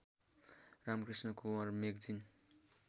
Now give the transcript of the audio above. Ramakrishna Kunwar magazine